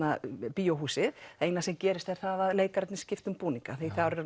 bíóhúsið eina sem gerist er það að leikararnir skipta um búninga